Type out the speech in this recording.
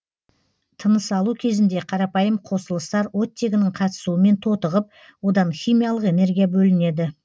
тынысалу кезінде қарапайым қосылыстар оттегінің қатысуымен тотығып одан химиялық энергия бөлінеді